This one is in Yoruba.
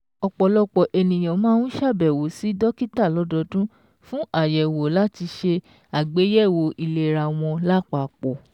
Ọ̀pọ̀lọpọ̀ ènìyàn máa ń ṣàbẹ̀wò sí dókítà lọ́dọọdún fún àyẹ̀wò láti ṣe àgbéyẹ̀wò ìlera wọn lápapọ̀.